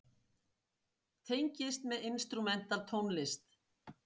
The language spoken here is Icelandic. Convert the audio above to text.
Tengist með instrumental tónlist.